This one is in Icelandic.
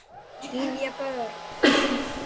Gyða Björk.